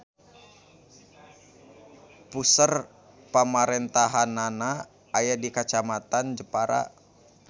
Puseur pamarentahannana aya di Kacamatan Jepara.